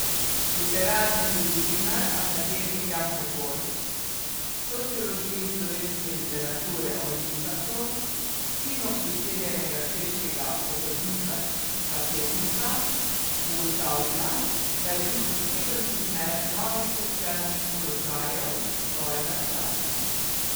Literarni zgodovinar akademik Janko Kos v Sociologiji slovenske literature o Linhartu, sinu priseljenega češkega obrtnika tapetnika, ugotavlja, da je bil poseben primer novih socialnih položajev svojega časa.